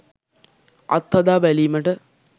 අත්හදා බැලීමට